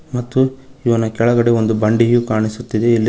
ಮತ್ತು ಇವನ ಕೆಳಗಡೆ ಒಂದು ಬಂಡೆಯು ಕಾಣಿಸುತ್ತಿದೆ ಇಲ್ಲಿ--